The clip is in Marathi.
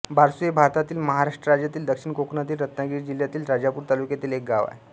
बारसू हे भारतातील महाराष्ट्र राज्यातील दक्षिण कोकणातील रत्नागिरी जिल्ह्यातील राजापूर तालुक्यातील एक गाव आहे